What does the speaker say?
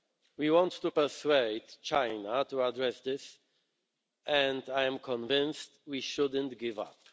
We want to persuade China to address this, and I am convinced that we shouldn't give up.